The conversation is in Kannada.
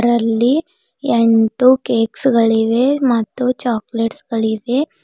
ಇದರಲ್ಲಿ ಎಂಟು ಕೇಕ್ಸ್ ಗಳಿವೆ ಮತ್ತು ಚೊಕೊಲೇಟ್ಸ್ ಗಳಿವೆ.